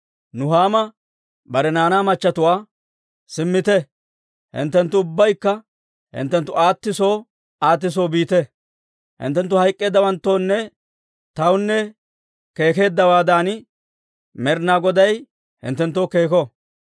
Nuhaama bare naanaa machatuwaa, «Simmite; hinttenttu ubbaykka hinttenttu aati soo aati soo biite. Hinttenttu hayk'k'eeddawanttoonne tawunne keekeddawaaddan, Med'inaa Goday hinttenttoo keeko.